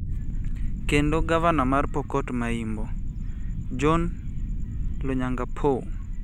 kendo Gavana mar Pokot ma Imbo', John Lonyangapuo.